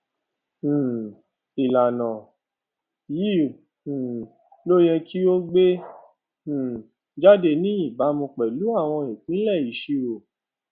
um ìlànà yìí um ló yẹ kí ó gbé um jáde ní ìbámu pẹlú àwọn ìpìlẹ ìṣirò